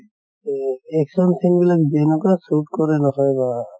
তʼ action scene বিলাক যেনেকুৱা shoot কৰে নহয় বাহ